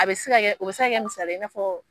A bɛ se ka kɛ, o bi se ka kɛ misali ye i n'a fɔ